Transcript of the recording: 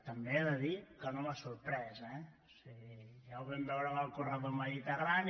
també he de dir que no m’ha sorprès eh o sigui ja ho vam veure amb el corredor mediterrani